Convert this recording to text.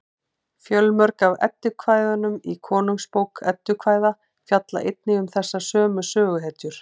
fjölmörg af eddukvæðunum í konungsbók eddukvæða fjalla einnig um þessar sömu söguhetjur